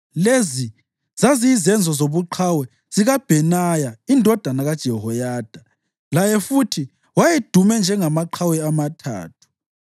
Lezi zaziyizenzo zobuqhawe zikaBhenaya indodana kaJehoyada; laye futhi wayedume njengamaqhawe amathathu.